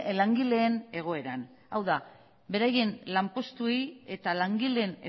langileen egoeran hau da beraien lanpostuei eta langileen